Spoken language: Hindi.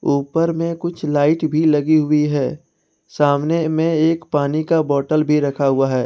ऊपर में कुछ लाइट भी लगी हुई है सामने में एक पानी का बॉटल भी रखा हुआ है।